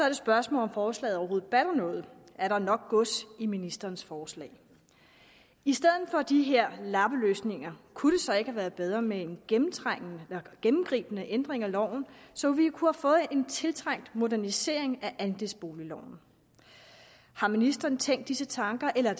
et spørgsmål om forslaget overhovedet batter noget er der nok gods i ministerens forslag i stedet for de her lappeløsninger kunne det så ikke have været bedre med en gennemtrængende eller gennemgribende ændring af loven så vi kunne have fået en tiltrængt modernisering af andelsboligloven har ministeren tænkt disse tanker eller